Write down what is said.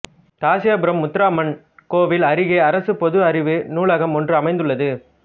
காசியாபுரம் முத்தாரம்மன் கோவில் அருகே அரசு பொது அறிவு நூலகம் ஒன்று அமைந்துள்ளது